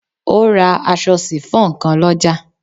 O ra aṣọ sifon kan lọ́jà.